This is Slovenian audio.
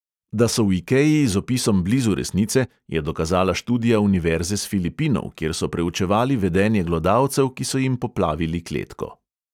Da so v ikei z opisom blizu resnice, je dokazala študija univerze s filipinov, kjer so preučevali vedenje glodalcev, ki so jim poplavili kletko.